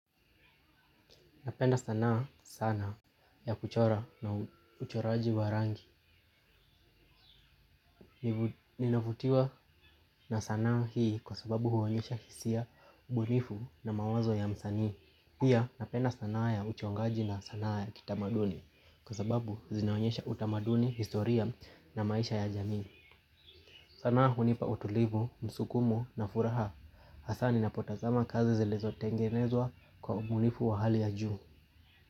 Napenda sanaa sana ya kuchora na uchoraji wa rangi. Ninavutiwa na sanaa hii kwa sababu huonyesha hisia ubunifu na mawazo ya msani. Pia napenda sanaa ya uchongaji na sanaa ya kitamaduni. Kwa sababu zinaonyesha utamaduni, historia na maisha ya jamii. Sana hunipa utulivu, msukumo na furaha hasaa ninapotazama kazi zilizo tengenezwa kwa ubunifu wa hali ya juu.